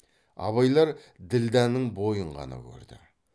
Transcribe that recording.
абайлар ділдәнің бойын ғана көрді